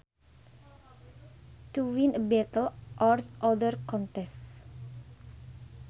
To win a battle or other contest